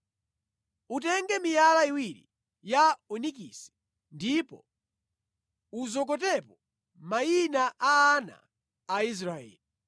“Utenge miyala iwiri ya onikisi ndipo uzokotepo mayina a ana a Israeli.